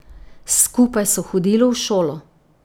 Skupaj so hodili v šolo.